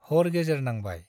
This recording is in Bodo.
हर गेजेर नांबाय।